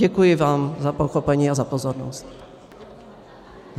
Děkuji vám za pochopení a za pozornost.